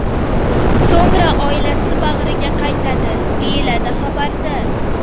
So‘ngra oilasi bag‘riga qaytadi”, deyiladi xabarda.